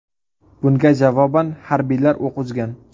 Bunga javoban harbiylar o‘q uzgan.